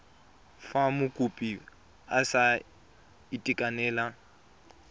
fa mokopi a sa itekanela